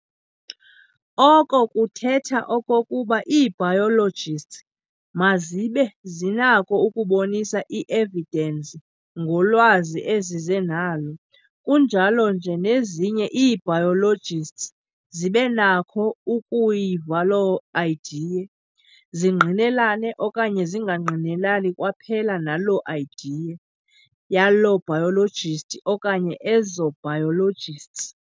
Oko kuthetha okokuba ii-biologists mazibe zinako ukubonisa i-evidence ngolwazi ezize nalo. Kunjalo nje nezinye ii-biologists" zibe nakho ukuyia loo idea, zingqinelane okanye zingangqinelani kwaphela naloo "idea" yaloo "biologist" okanye ezo "biologists."